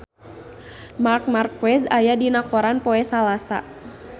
Marc Marquez aya dina koran poe Salasa